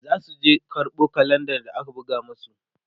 zasu je karɓo kalenda da aka buga masu